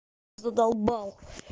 задолбал